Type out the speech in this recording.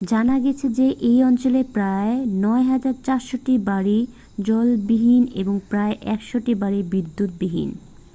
জানা গেছে যে এই অঞ্চলে প্রায় 9400টি বাড়ি জলবিহীন এবং প্রায় 100টি বাড়ি বিদ্যুৎবিহীন